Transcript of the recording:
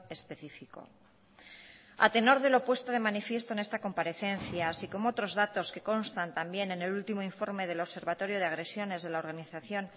específico a tenor de lo puesto de manifiesto en esta comparecencia así como otros datos que constan también en el último informe del observatorio de agresiones de la organización